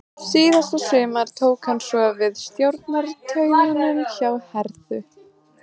Síðasta sumar tók hann svo við stjórnartaumunum hjá Herthu.